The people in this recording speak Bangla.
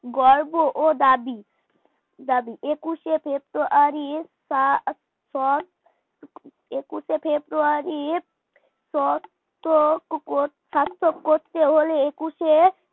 গর্ব ও দাবি দাবি একুশে ফেব্রুয়ারি তা পর একুশে ফেব্রুয়ারি করতে হলে একুশে